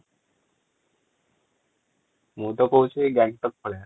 ମୁଁ ତ କହୁଛି ଗ୍ୟାଙ୍ଗଟକ ପଳେଇବା ।